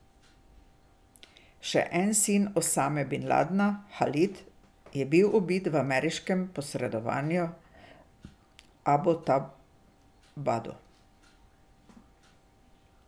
Še en sin Osame bin Ladna, Halid, je bil ubit v ameriškem posredovanju v Abotabadu.